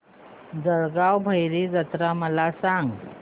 जळगाव भैरी जत्रा मला सांग